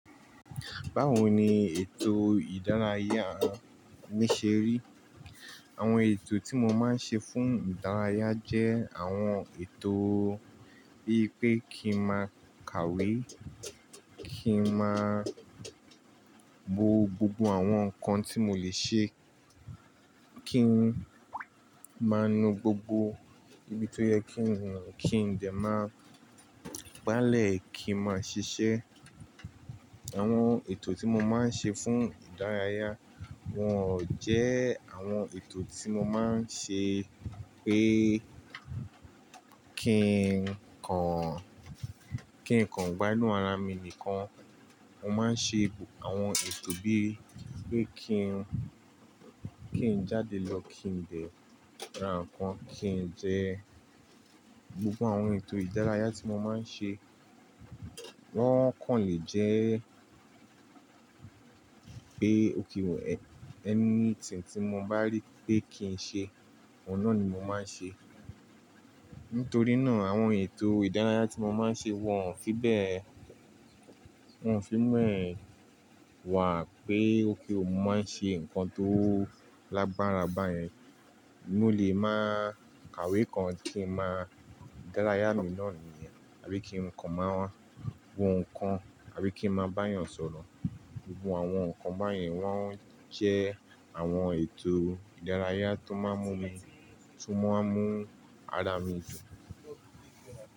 Báwo ni ètò ìdárayá mi ṣe rí? Àwọn ètò tí mo máa ń ṣe fún ìdárayá jẹ́ àwọn ètò bíi pé kí n máa kàwé, kí n máa bo gbogbo àwọn nǹkan tí mo lè ṣe, kí n máa nu gbogbo ibi tó yẹ kí n nù, kí n dẹ máa gbálẹ̀ kí n máa ṣiṣẹ́. Àwọn ètò tí mo máa ń ṣe fún ìdárayá wọn ò jẹ́ àwọn ètò tí mo máa ń ṣe pé kí n kan, kí n kan gbá inú ara mi nìkan. Mo máa ń ṣe àwọn ètò bíi pé kí n, kí n jáde lọ, kí n dẹ ra ǹkan, kí n jẹ. Gbogbo àwọn ètò ìdárayá tí mo máa ń ṣe wọ́n kàn lè jẹ́ pé okay o anything pe mo bá rí pé kí n ṣe, òun náà ni mo máa ń ṣe. Nítorí náà àwọn ètò ìdárayá tí mo máa ń ṣe wọn ò fí bẹ́ẹ̀, wọn ò fi béẹ́ wà pé okay o mo máa ń ṣe nǹkan tó lágbára báyẹn. Mó lè máa kàwé kan kí n máa dárayá mi náà nìyẹn, àbí kí nǹkan máa wọ ǹkan, àbí kí n máa bá èèyàn sọ̀rọ̀. Gbogbo àwọn nǹkan báyẹn wọ́n jẹ́ àwọn ètò ìdárayá tó máa ń mú mi, tó máa ń mú ara mi dùn.